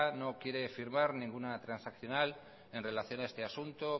no quiere firmar ninguna transaccional en relación a este asunto